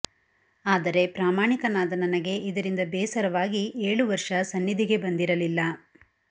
ಆದರೆ ಪ್ರಾಮಾಣಿಕನಾದ ನನಗೆ ಇದರಿಂದ ಬೇಸರವಾಗಿ ಏಳು ವರ್ಷ ಸನ್ನಿಧಿಗೆ ಬಂದಿರಲಿಲ್ಲ